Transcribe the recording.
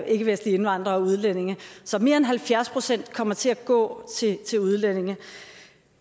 ikkevestlige indvandrere og udlændinge så mere end halvfjerds procent kommer til at gå til udlændinge